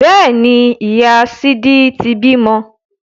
Bẹ́ẹ̀ni, ìyá sídí ti bímọ